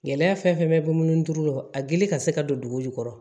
Gɛlɛya fɛn fɛn bɛ mun duuru lɔ a gili ka se ka don dugu jukɔrɔ